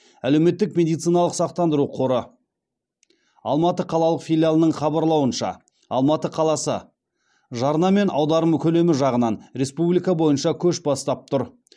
әлеуметтік медициналық сақтандыру қоры алматы қалалық филиалының хабарлауынша алматы қаласы жарна мен аударым көлемі жағынан республика бойынша көш бастап тұр